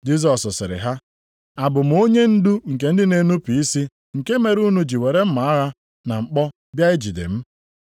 Jisọs sịrị ha, “Abụ m onyendu nke ndị na-enupu isi nke mere unu ji were mma agha na mkpọ bịa ijide m?